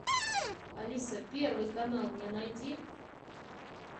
алиса первый канал мне найди